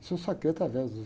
Isso eu saquei através do